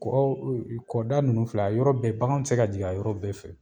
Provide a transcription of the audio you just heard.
Kɔrɔ, ee kɔ da nunnu filɛ a yɔrɔ bɛɛ bakan ti ka jigin a yɔrɔ bɛɛ fɛ.